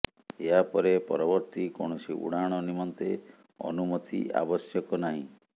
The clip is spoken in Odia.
ଏହାପରେ ପରବର୍ତ୍ତି କୌଣସି ଉଡ଼ାଣ ନିମନ୍ତେ ଅନୁମତି ଆବଶ୍ୟକ ନାହିଁ